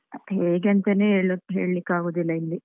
ಅದ್ ಹೇಗೆ ಅಂತನೇ ಹೇಳುದ್, ಹೇಳಿಕ್ಕ್ ಆಗುದಿಲ್ಲ ಇಲ್ಲಿ.